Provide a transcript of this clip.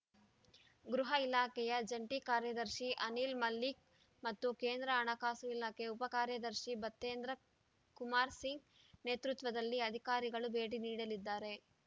ಗೃಹ ಇಲಾಖೆಯ ಜಂಟಿ ಕಾರ್ಯದರ್ಶಿ ಅನಿಲ್‌ ಮಲ್ಲಿಕ್‌ ಮತ್ತು ಕೇಂದ್ರ ಹಣಕಾಸು ಇಲಾಖೆ ಉಪ ಕಾಯದರ್ಶಿ ಭತೇಂದ್ರ ಕುಮಾರ್‌ ಸಿಂಗ್‌ ನೇತೃತ್ವದಲ್ಲಿ ಅಧಿಕಾರಿಗಳು ಭೇಟಿ ನೀಡಲಿದ್ದಾರೆ